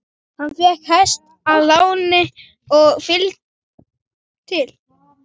Hann fékk hest að láni og fylgd til